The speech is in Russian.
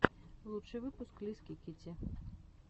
лучший выпуск лиски китти